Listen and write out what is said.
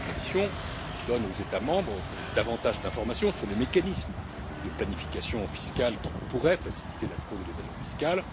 La proposition donne aux États membres davantage d'informations sur les mécanismes de planification fiscale qui pourraient faciliter la fraude et l'évasion fiscale.